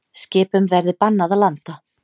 Skipum verði bannað að landa